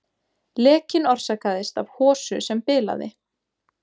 Lekinn orsakaðist af hosu sem bilaði